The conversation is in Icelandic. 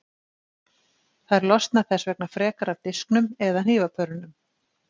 Þær losna þess vegna frekar af disknum eða hnífapörunum.